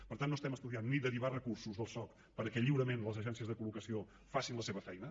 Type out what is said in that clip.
per tant no estem estudiant ni derivar recursos del soc perquè lliurement les agències de col·locació facin la seva feina